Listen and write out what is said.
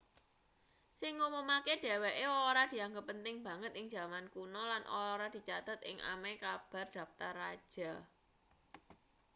sing nggumunake dheweke ora dianggep penting banget ing jaman kuno lan ora dicathet ing ameh kabeh daptar raja